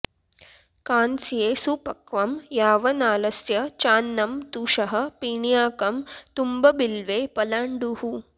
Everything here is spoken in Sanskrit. कांस्ये सुपक्वं यावनालस्य चान्नं तुषः पिण्याकं तुम्बबिल्वे पलाण्डुः